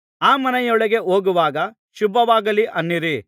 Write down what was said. ಆ ಮನೆಯೊಳಗೆ ಹೋಗುವಾಗ ಶುಭವಾಗಲಿ ಅನ್ನಿರಿ